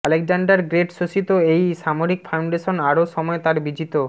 Alexander great শোষিত এই সামরিক ফাউন্ডেশন আরও সময় তার বিজিত